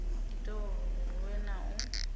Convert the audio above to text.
ita uri huvhe na u